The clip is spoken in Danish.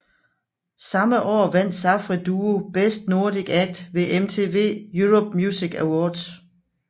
Samme år vandt Safri Duo Best Nordic Act ved MTV Europe Music Awards